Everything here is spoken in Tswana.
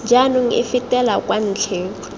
jaanong e fetela kwa ntlheng